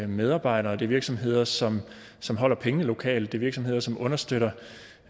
medarbejdere det er virksomheder som som holder pengene lokalt det er virksomheder som understøtter